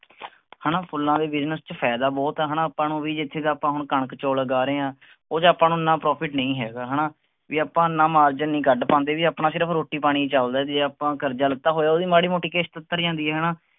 ਹੈਨਾ ਫੁੱਲਾਂ ਦੇ ਵਿਚ ਫਾਇਦਾ ਹੀ ਬਹੁਤ ਆ ਹੈਨਾ ਆਪਾਂ ਨੂੰ ਵੀ ਜਿਥੇ ਆਪਾਂ ਕਣਕ ਚੌਲ ਉਗਾ ਰਹੇ ਹਾਂ ਓਹਦਾ ਆਪਾਂ ਨੂੰ ਐਨਾ ਨਹੀਂ ਹੈਗਾ ਹੈਨਾ ਵੀ ਆਪ ਓਨਾ ਨਹੀਂ ਕੱਡ ਪਾਂਦੇ ਵੀ ਆਪਣਾ ਸਿਰਫ ਰੋਟੀ ਪਾਣੀ ਚਲਦਾ ਆ ਜੇ ਆਪਾਂ ਕਰਜਾ ਲਿੱਤਾ ਹੋਇਆ ਤਾਂ ਮਾੜੀ ਮੋਤੀ ਕਿਸ਼ਤ ਉਤਰ ਜਾਂਦੀ ਆ ਹੈਨਾ